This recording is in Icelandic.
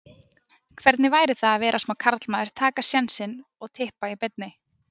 Hvernig væri það að vera smá karlmaður, taka sénsinn og Tippa í beinni?